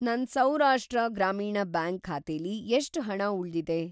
ನನ್‌ ಸೌರಾಷ್ಟ್ರ ಗ್ರಾಮೀಣ್‌ ಬ್ಯಾಂಕ್ ಖಾತೆಲಿ ಎಷ್ಟ್‌ ಹಣ ಉಳ್ದಿದೆ?